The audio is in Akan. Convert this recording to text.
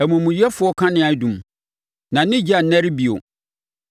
“Omumuyɛfoɔ kanea adum; na ne ogya nnɛre bio.